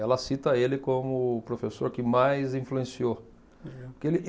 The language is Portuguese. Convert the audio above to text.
Ela cita ele como o professor que mais influenciou. Porque ele